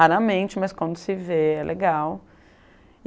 Raramente, mas quando se vê, é legal.